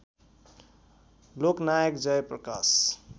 Loknayak Jayaprakash